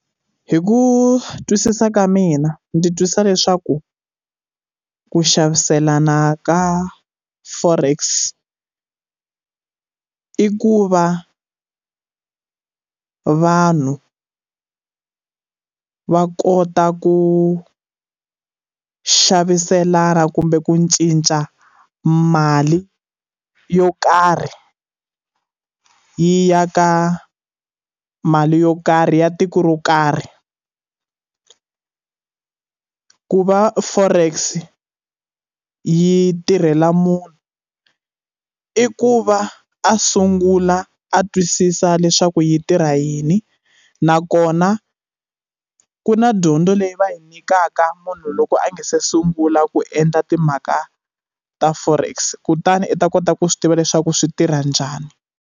Hi ku twisisa ka mina ndzi twisisa leswaku ku xaviselana ka forex i ku va vanhu va kota ku xaviselana kumbe ku cinca mali yo karhi yi ya ka mali yo karhi ya tiko ro karhi ku va forex yi tirhela munhu i ku va a sungula a twisisa leswaku yi tirha yini nakona ku na dyondzo leyi va yi nyikaka munhu loko a nga se sungula ku endla timhaka ta forex kutani u ta kota ku swi tiva leswaku swi tirha njhani.